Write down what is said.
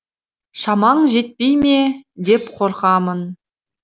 шамаң жетпей ме деп қорқамын